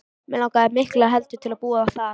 Mig langaði miklu heldur til að búa þar.